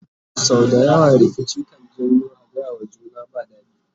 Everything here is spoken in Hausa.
sau da yawa rikici kan janyo a gayawa juna ba daɗi